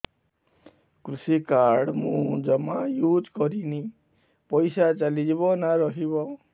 କୃଷି କାର୍ଡ ମୁଁ ଜମା ୟୁଜ଼ କରିନି ପଇସା ଚାଲିଯିବ ନା ରହିବ